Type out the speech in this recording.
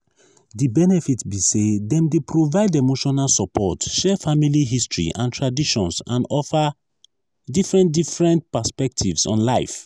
di benefit be say dem dey provide emotional support share family history and traditions and offer different different perspectives on life.